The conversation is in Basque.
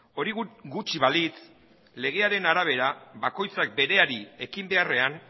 hori gutxi balitz legearen arabera bakoitzak bereari ekin beharrean